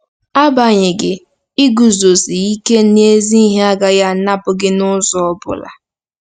Agbanyeghị, iguzosi ike n'ezi ihe agaghị anapụ gị n'ụzọ ọ bụla.